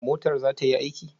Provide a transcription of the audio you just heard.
Motar za ta yi aiki?